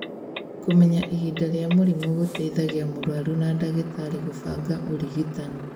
kũmenya ihinda rĩa mũrimũ gũteithagia mũrwaru na dagĩtarĩ gũbanga ũrigitani